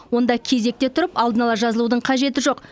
онда кезекте тұрып алдын ала жазылудың қажеті жоқ